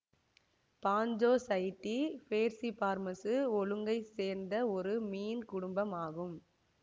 பாஞ்சோசைடீ பேர்சிஃபார்மசு ஒழுங்கை சேர்ந்த ஒரு மீன் குடும்பம் ஆகும்